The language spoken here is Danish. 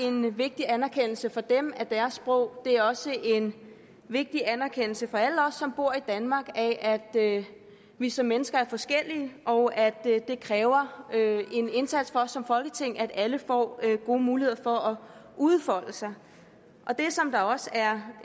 en vigtig anerkendelse for dem af deres sprog det er også en vigtig anerkendelse for alle os som bor i danmark af at vi som mennesker er forskellige og at det kræver en indsats fra os som folketing at alle får gode muligheder for at udfolde sig det som der også er